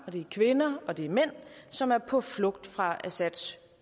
og det er kvinder og det er mænd som er på flugt fra assads